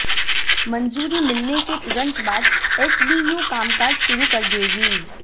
मंजूरी मिलने के तुरंत बाद एसबीयू कामकाज शुरू कर देगी